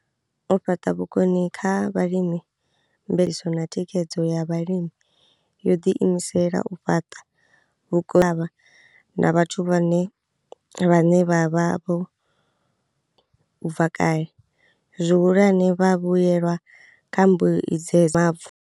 U fhaṱa vhukoni kha vhalimi ya mveledziso na Thikhedzo ya Vhalimi yo ḓiimisela u fhaṱa na vhathu vhone vhaṋe vhe vha vha vho u bva kale, zwihulwane, vhavhuelwa kha mbue ya Mavu.